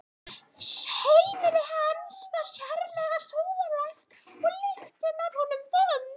Heimili hans var sérlega sóðalegt og lyktin af honum vond.